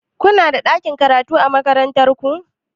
Kunada ɗakin karatu a makaranta?